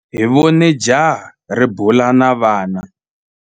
Hi vone jaha ri bula na vana.